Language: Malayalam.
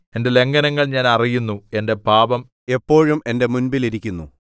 എന്റെ ലംഘനങ്ങൾ ഞാൻ അറിയുന്നു എന്റെ പാപം എപ്പോഴും എന്റെ മുമ്പിൽ ഇരിക്കുന്നു